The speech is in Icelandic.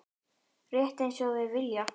Rétt einsog þeir vilja.